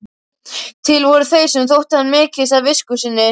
Til voru þeir sem þótti hann miklast af visku sinni.